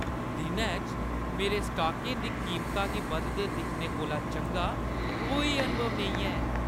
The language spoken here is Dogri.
दिनै च मेरे स्टॉकें दी कीमता गी बधदे दिक्खने कोला चंगा कोई अनुभव नेईं ऐ।